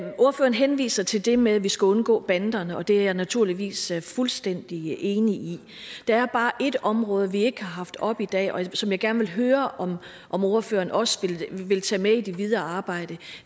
henviser til det med at vi skal undgå banderne og det er jeg naturligvis fuldstændig enig i der er bare et område vi ikke har haft oppe i dag og som jeg gerne vil høre om ordføreren også vil tage med i det videre arbejde